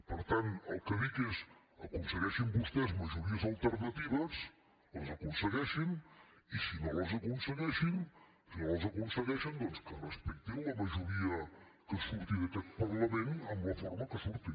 per tant el que dic és aconsegueixin vostès majories alternatives les aconsegueixin i si no les aconsegueixen doncs que respectin la majoria que surti d’aquest parlament en la forma que surti